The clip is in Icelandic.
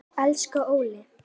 Elsku Óli.